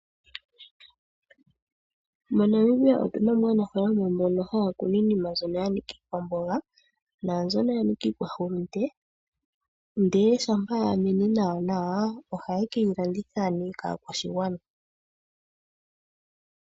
MoNamibia otuna mo aanafalama mbono ohaya kunu iinima mbyono yanika iikwamboga nambyono yanika iikwahulunde . Ndele shampa yamene nawa nawa ohaye ke yilanditha nee kaakwashigwana.